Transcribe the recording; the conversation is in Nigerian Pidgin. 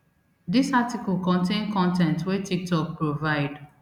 dis article contain con ten t wey tiktok provide